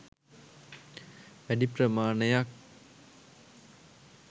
වැඩි ප්‍රමාණයක්